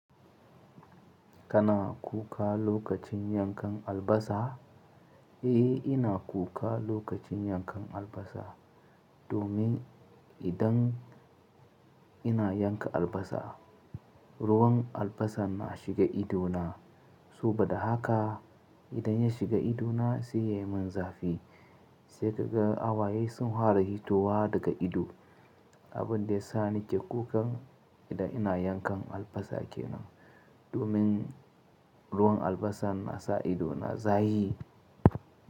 Kana kuka lokacin yankan albasa? Eh, ina kuka lokacin yankan albasa. Domin idan ina yanka albasa, ruwan albasa na shiga ido na. Saboda haka idan ya shiga ido na, sai ya yi min zafi. Sai kaga hawaye sun fara fitowa daga ido. Abin da ya sa nike kukan idan ina yankan albasa kenan. Domin ruwan albasa na sa ido na zafi.